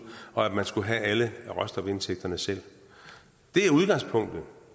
og at man skal have alle råstofindtægterne selv det er udgangspunktet